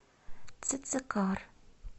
цицикар